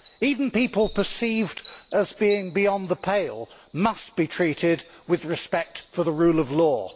Even people perceived as being beyond the pale must be treated with respect for the rule of law.